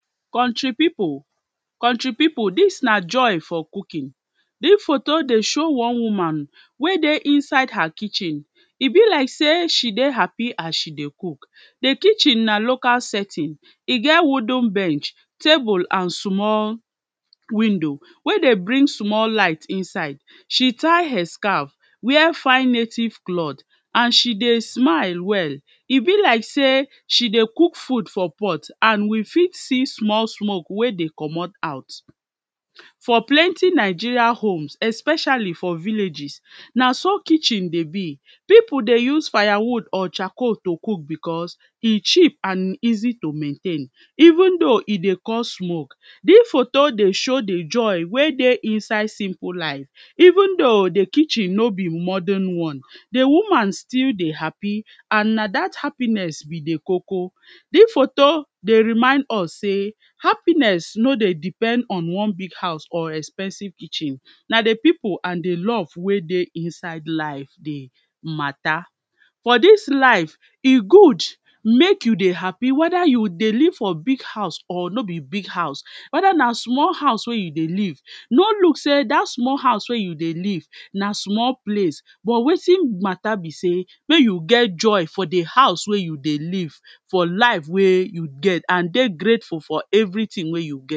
Country pipu, Country pipu dis na Joy for cooking, dis photo dey show one woman wey dey inside her kitchen e be like sey she dey happy as she dey cook, di kitchen na local setting e get wooden bench, table and small window wey dey bring small light inside, she tie hair scarf, wear fine native clothe and she dey smile well e be like sey she dey cook food for pot and we fit see small smoke wey dey comot out. For plenty Nigeria homes especially for villages na so kitchen dey be, pipu dey use fire wood or charcoal to cook becos e cheap and e easy to maintain even though e dey cos smoke dis photo dey show di Joy wey dey inside simple life even though di kitchen no be modern one di woman still dey happy and na dat happiness be di koko. Dis photo dey remind us sey happiness no dey depend on one big house or expensive kitchen na di pipu and di love wey dey inside life dey matter but dis life e good make you dey happy wether you dey live for big house or no be big house whether na small house wey dey live, no look sey dat small house wey you dey live na small place wetin matter be sey make you get Joy for di house wey you dey live, for life wey you get and dey grateful for everything wey you get.